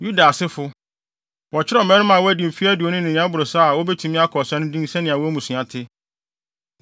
Yuda asefo: Wɔkyerɛw mmarima a wɔadi mfe aduonu ne nea ɛboro saa a wobetumi akɔ ɔsa no din sɛnea wɔn mmusua te.